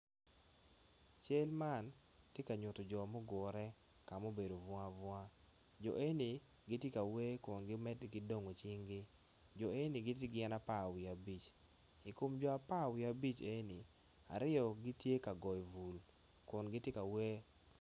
Cal man tye ka nyuto jo mugure ka mubedo bunga bunga jo e ni giti ka wer kun giwoti dongo cinggi jo e ni giti gin apar wiya abic i kom jo apar wiya abic e ni ryo gitye ka goyo bul kun giti ka wer